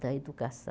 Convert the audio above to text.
da educação.